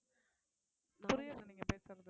புரியல நீங்க பேசுறது